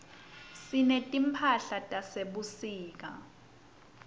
sinetimphahlatase sebusika